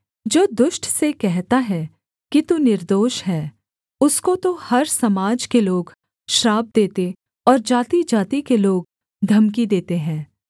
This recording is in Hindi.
जो दुष्ट से कहता है कि तू निर्दोष है उसको तो हर समाज के लोग श्राप देते और जातिजाति के लोग धमकी देते हैं